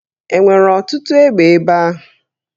E nwere ọtụtụ egbe ebe ahụ?